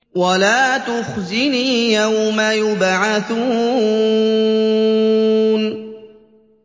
وَلَا تُخْزِنِي يَوْمَ يُبْعَثُونَ